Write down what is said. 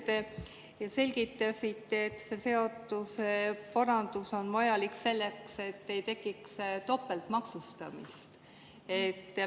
Te selgitasite, et see seaduseparandus on vajalik selleks, et ei tekiks topeltmaksustamist.